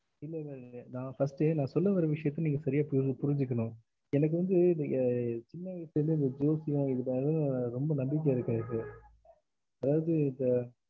இல்ல இல்ல இல்ல நா first நா சொல்ல வர்ற விசயத்த நீங்க சரியா புரிஞ்~ புரிஞ்சுக்கணும் எனக்கு வந்து நீங்க சின்ன வயசுல இருந்தே இந்த ஜோசியம் இதுலலா ரொம்ப நம்பிக்கை இருக்கு எனக்கு அதாவது இந்த